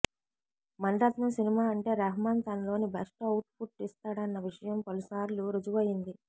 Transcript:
Mani Ratnam cinema అంటే రెహ్మాన్ తనలోని best output ఇస్తాడన్న విషయం పలుసార్లు రుజువు అయ్యింది